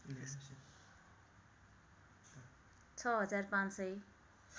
६ हजार ५ सय